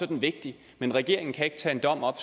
den vigtig men regeringen kan ikke tage en dom op